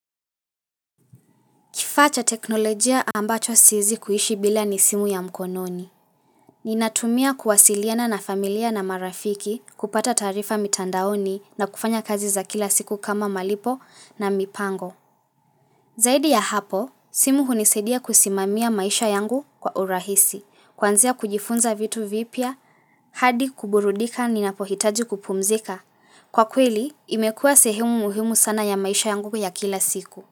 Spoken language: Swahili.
Kifaa cha teknolojia ambacho siezi kuhishi bila ni simu ya mkononi. Ninatumia kuwasiliana na familia na marafiki kupata taarifa mitandaoni na kufanya kazi za kila siku kama malipo na mipango. Zaidi ya hapo, simu hunisedia kusimamia maisha yangu kwa urahisi. Kwanzia kujifunza vitu vipya, hadi kuburudika ninapohitaji kupumzika. Kwa kweli, imekuwa sehemu muhimu sana ya maisha yangu ya kila siku.